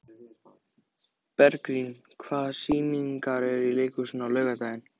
Bergrín, hvaða sýningar eru í leikhúsinu á laugardaginn?